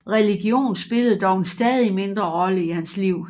Religion spillede dog en stadig mindre rolle i hans liv